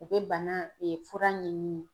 U bɛ bana fura ɲɛɲini.